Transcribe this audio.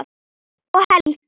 Og Helga!